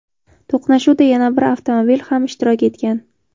To‘qnashuvda yana bir avtomobil ham ishtirok etgan.